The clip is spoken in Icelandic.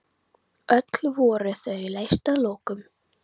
Öll voru þau leyst að lokum.